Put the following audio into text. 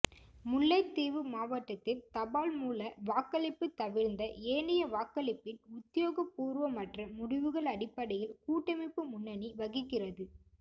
முல்லைத்தீவு மாவட்டத்தின் தபால் மூல வாக்களிப்பு தவிர்ந்த ஏனைய வாக்களிப்பின் உத்தியோகபூர்வமற்ற முடிவுகள் அடிப்படையில் கூட்டமைப்பு முன்னணி வகிக்கிறது